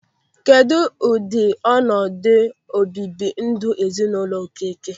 Kedụ ụdị ọnọdụ o bibi ndụ n'ezinụlọ Okeke?